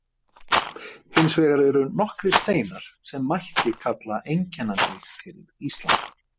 Hins vegar eru nokkrir steinar sem mætti kalla einkennandi fyrir Ísland.